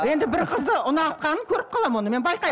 енді бір қызды ұнатқанын көріп қаламын оны мен байқаймын